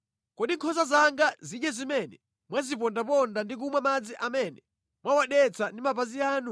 Kodi nkhosa zanga zidye zimene mwazipondaponda ndi kumwa madzi amene mwawadetsa ndi mapazi anu?